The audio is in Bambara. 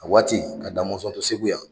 A waati ka Da mɔnsɔn to Segu yan.